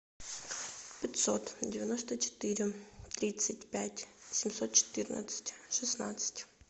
пятьсот девяносто четыре тридцать пять семьсот четырнадцать шестнадцать